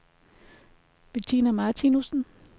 Betina Martinussen